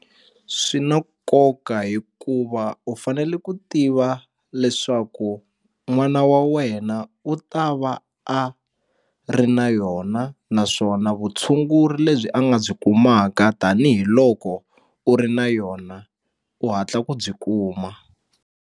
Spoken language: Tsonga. Swi na nkoka hikuva u fanele ku tiva leswaku n'wana wa wena u ta va a ri na yona naswona vutshunguri lebyi a nga byi kumaka tanihiloko u ri na yona u hatla ku byi kuma.